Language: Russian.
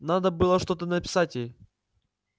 надо было что-то написать ей